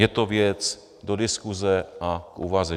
Je to věc do diskuse a k úvaze.